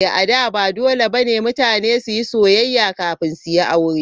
A da, ba dole ba ne mutane su yi soyayya kafin su yi aure.